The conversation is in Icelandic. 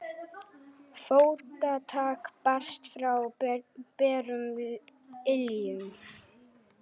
Fótatak barst frá berum iljum.